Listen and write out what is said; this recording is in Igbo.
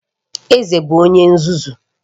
Eze bụ onye nzuzu